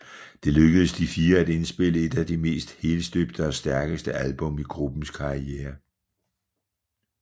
Det lykkedes de fire at indspille et af de mest helstøbte og stærkeste album i gruppens karriere